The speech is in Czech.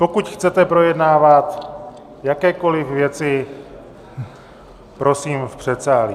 Pokud chcete projednávat jakékoliv věci, prosím v předsálí.